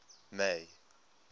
may